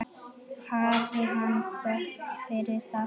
Hafi hann þökk fyrir það.